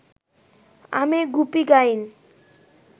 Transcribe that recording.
আমি গুপি গাইন